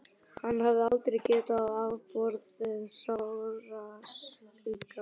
Hann hafði aldrei getað afborið sársauka.